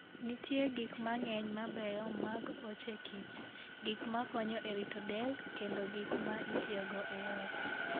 Nitie gik mang'eny mabeyo mag ochekich, gik makonyo e rito del, kendo gik ma itiyogo e ot.